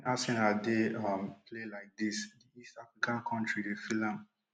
arsenal dey um play like dis di esaka kontri dey feel am